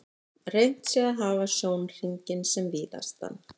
Reynt sé að hafa sjónhringinn sem víðastan.